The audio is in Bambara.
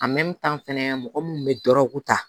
fɛnɛ mɔgɔ mun bɛ dɔrɔgu ta